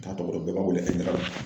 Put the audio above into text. N t'a tɔgɔ dɔn bɛɛ b'a wele Ayidara